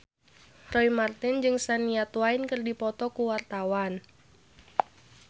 Roy Marten jeung Shania Twain keur dipoto ku wartawan